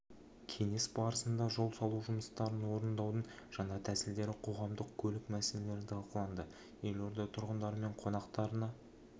кеңес барысында жол салу жұмыстарын орындаудың жаңа тәсілдері қоғамдық көлік мәселелері талқыланды елорда тұрғындары мен қонақтарына